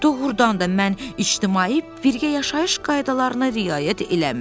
Doğrudan da mən ictimai birgə yaşayış qaydalarına riayət eləmirəm.